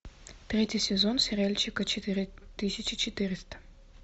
третий сезон сериальчика четыре тысячи четыреста